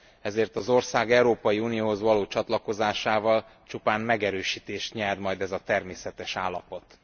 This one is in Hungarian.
Ezért az ország Európai Unióhoz való csatlakozásával csupán megerősítést nyer majd ez a természetes állapot.